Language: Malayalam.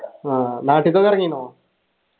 ആഹ് നാട്ടിക്കൊക്കെ എറങ്ങീനോ